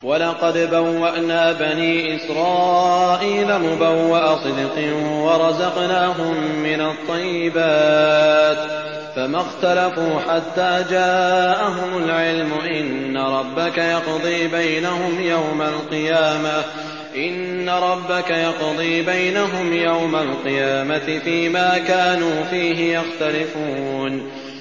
وَلَقَدْ بَوَّأْنَا بَنِي إِسْرَائِيلَ مُبَوَّأَ صِدْقٍ وَرَزَقْنَاهُم مِّنَ الطَّيِّبَاتِ فَمَا اخْتَلَفُوا حَتَّىٰ جَاءَهُمُ الْعِلْمُ ۚ إِنَّ رَبَّكَ يَقْضِي بَيْنَهُمْ يَوْمَ الْقِيَامَةِ فِيمَا كَانُوا فِيهِ يَخْتَلِفُونَ